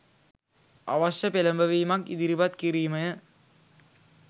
අවශ්‍ය පෙළඹවීමක් ඉදිරිපත් කිරීමය